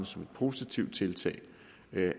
som et positivt tiltag